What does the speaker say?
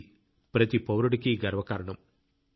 ఇది ప్రతి పౌరుడికి గర్వకారణం